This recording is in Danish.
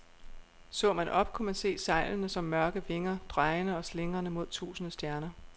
Så man op, kunne man se sejlene som mørke vinger, drejende og slingrende mod tusinde stjerner.